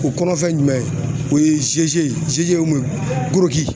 O kɔrɔ fɛn jumɛn ye ? O ye